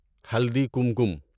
ہلدی کمکم